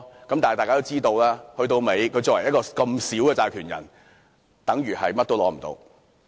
然而，大家都知道作為一個款額這麼少的債權人，等於甚麼都得不到。